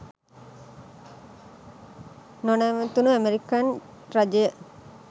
නොනැවතුණු American රජය